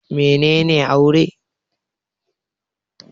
Mene ne Aure?